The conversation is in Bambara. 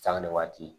Sanga ni waati